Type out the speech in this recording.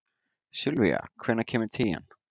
Sylvía, hvenær kemur tían?